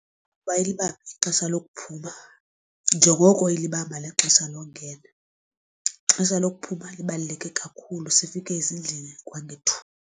Uba ilibambe ixesha lokuphuma njengoko ilibamba nexesha longena, ixesha lokuphuma libaluleke kakhulu sifike ezindlini kwangethuba.